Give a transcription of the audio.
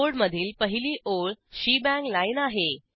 कोडमधील पहिली ओळ शेबांग लाईन आहे